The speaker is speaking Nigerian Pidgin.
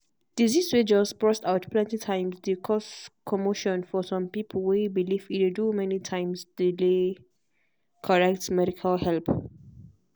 disease way just burst out plenty times dey cause commotion for some pipo way believe e dey do many times delay correct medical help.